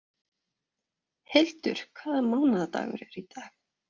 Hildur, hvaða mánaðardagur er í dag?